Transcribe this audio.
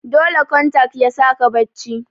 dole kontak yasaka bacci